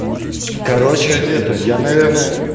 короче где ты я наверное